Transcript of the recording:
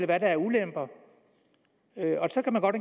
hvad der er af ulemper så kan der godt